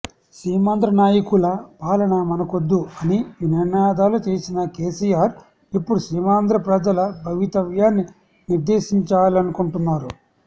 సీమాంధ్ర నాయకుల పాలన మనకొద్దు అని నినాదాలు చేసిన కెసిఆర్ ఇప్పుడు సీమాంధ్ర ప్రజల భవితవ్యాన్ని నిర్దేశించాలనుకుంటున్నారు